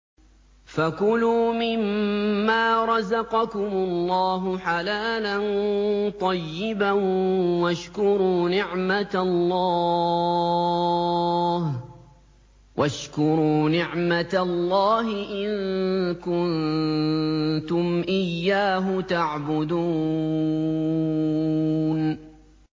فَكُلُوا مِمَّا رَزَقَكُمُ اللَّهُ حَلَالًا طَيِّبًا وَاشْكُرُوا نِعْمَتَ اللَّهِ إِن كُنتُمْ إِيَّاهُ تَعْبُدُونَ